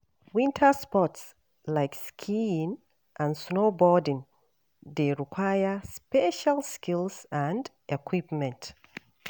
Winter sports, like skiing and snowboarding, dey require special skills and equipment.